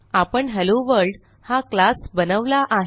आपण हेलोवर्ल्ड हा क्लास बनवला आहे